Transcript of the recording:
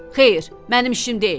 Xeyr, mənim işim deyil.